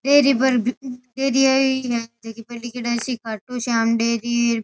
Dairy पर दे दिया है डेयरी पर लिखेड़ा है श्री खाटूश्याम डेयरी।